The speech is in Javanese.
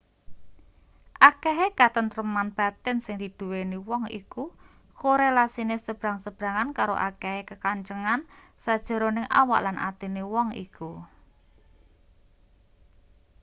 akehe katentreman batin sing diduweni wong iku korelasine sebrang-sebrangan karo akehe kakencengan sajeroning awak lan atine wong iku